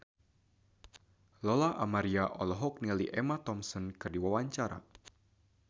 Lola Amaria olohok ningali Emma Thompson keur diwawancara